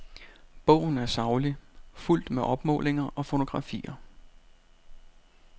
Bogen er saglig, fuldt med opmålinger og fotografier.